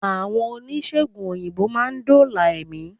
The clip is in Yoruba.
Àwọn oníṣègùn òyìnbó má a ndóòlà èmí